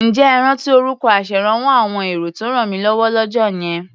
Ǹjẹ́ ẹ rántí orúkọ aṣèrànwọ́ àwọn èrò tó rànmílọ́wọ́ lọ́jọ́ yẹn?